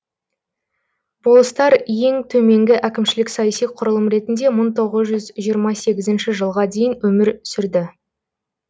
болыстар ең төменгі әкімшілік саяси құрылым ретінде мың тоғыз жүз жиырма сегізінші жылға дейін өмір сүрді